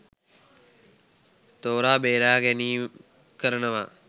තෝරා බේරාගැනීම් කරනවා?